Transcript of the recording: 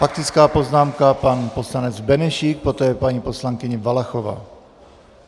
Faktická poznámka, pan poslanec Benešík, poté paní poslankyně Valachová.